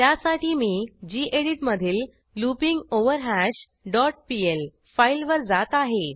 त्यासाठी मी गेडीत मधील लूपिंगवरहॅश डॉट पीएल फाईलवर जात आहे